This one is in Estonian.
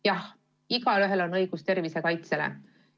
Jah, igaühel on õigus tervise kaitsele.